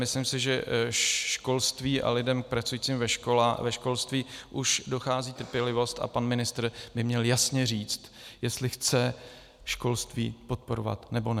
Myslím si, že školství a lidem pracujícím ve školách už dochází trpělivost a pan ministr by měl jasně říct, jestli chce školství podporovat, nebo ne.